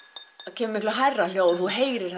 kemur miklu hærra hljóð þú heyrir